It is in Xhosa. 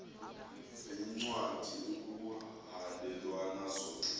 veencwadi ekuhhalelwana zona